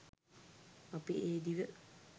අපි ඒ දිව